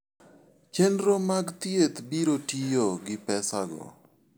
Chenro mag thieth biro tiyo gi pesago.